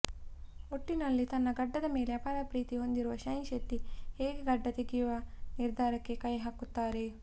ಒಟ್ಟಿನಲ್ಲಿ ತನ್ನ ಗಡ್ಡದ ಮೇಲೆ ಅಪಾರ ಪ್ರೀತಿ ಹೊಂದಿದ್ದ ಶೈನ್ ಶೆಟ್ಟಿ ಹೇಗೆ ಗಡ್ಡ ತೆಗೆಯುವ ನಿರ್ಧಾರಕ್ಕೆ ಕೈ ಹಾಕುತ್ತಾರೆ